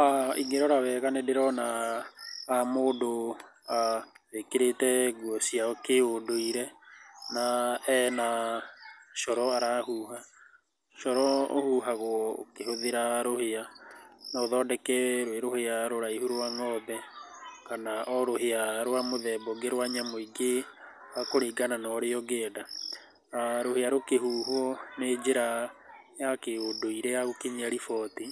aah ĩngĩrora wega nĩ ndĩrona mũndũ aah wĩkĩrĩte nguo cia kĩ ũndũire na ena coro arahuha. Coro uhuhagwo ũkĩhũthĩra rũhĩa. No ũthondeke rwĩ rũhĩa rũraihu rwa ng'ombe kana o rũhĩa rwa mũthemba ũngĩ rwa nyamũ ingĩ kũringana na ũrĩa ũrenda. Rũhĩa rũkĩhuhwo nĩ njĩra ya kĩ ũndũire ya gũkinyia riboti,